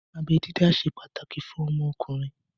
Abẹ dídá ṣe pàtàkì fún ọmọkùnrin